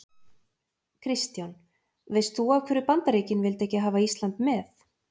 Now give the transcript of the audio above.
Kristján: Veist þú af hverju Bandaríkin vildu ekki hafa Ísland með?